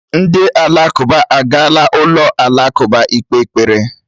Ndị Alakụba agaala n'ụlọ alakụba ikpe ekpere